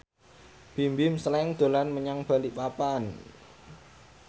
Bimbim Slank dolan menyang Balikpapan